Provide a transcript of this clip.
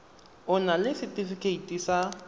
o na le setefikeiti sa